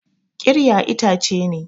Ƙirya itace ne.